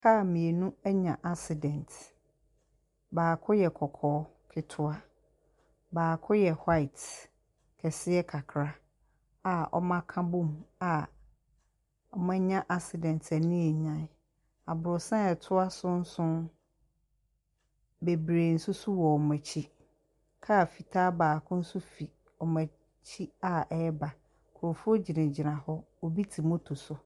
Kaa mmienu anya accident, baako yɛ kɔkɔɔ ketewa, baako yɛ white kɛseɛ kakra a wɔaka bɔɔ mu a wɔanya accident a ani yɛ nyan. Abrɔsan a ɛto so nso, bebree nso wɔ wɔn akyi. Kaa fitaa baako nso fi wɔn akyi a ɛreba. Nkurɔfoɔ gyinagyina hɔ, obi te mot so.